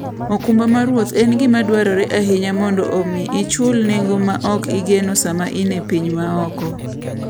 okumba mar wuoth en gima dwarore ahinya mondo omi ichul nengo ma ok igeno sama in e piny maoko.